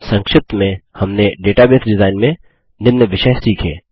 संक्षिप्त में हमने डेटाबेस डिजाइन में निम्न विषय सीखे 7